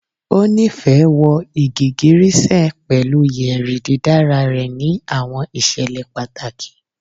O nifẹ wọ igigirisẹ pẹlu yeri didara rẹ ni awọn iṣẹlẹ pataki